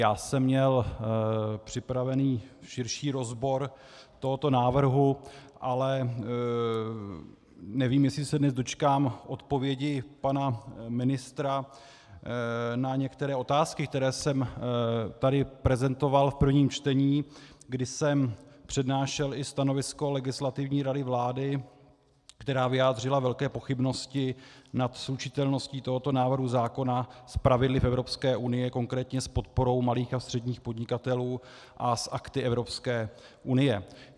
Já jsem měl připravený širší rozbor tohoto návrhu, ale nevím, jestli se dnes dočkám odpovědi pana ministra na některé otázky, které jsem tady prezentoval v prvním čtení, kdy jsem přednášel i stanovisko Legislativní rady vlády, která vyjádřila velké pochybnosti nad slučitelností tohoto návrhu zákona s pravidly v Evropské unii, konkrétně s podporou malých a středních podnikatelů a s akty Evropské unie.